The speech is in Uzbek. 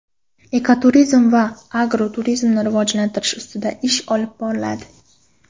Ekoturizm va agroturizmni rivojlantirish ustida ish olib boriladi.